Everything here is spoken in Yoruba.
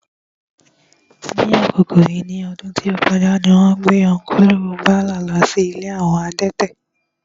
Ní àkókò yìí ní ọdún tí ó kọjá, wón gbé Ọ́nkùlù Báyọ̀ lọ sí ilé àwọn adẹ́tẹ̀